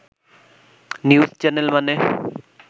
news channel মানে